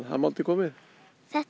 er mál til komið þetta er